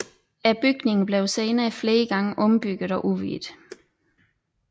Bygningen blev senere flere gange ombygget og udvidet